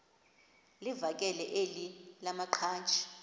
livakele elinye lamaqhaji